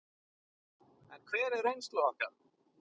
En hver er reynsla okkar?